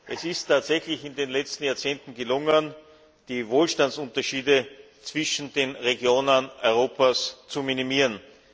Es ist tatsächlich in den vergangenen Jahrzehnten gelungen, die Wohlstandsunterschiede zwischen den Regionen Europas zu minimieren.